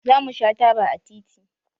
Zamu sha taba a titi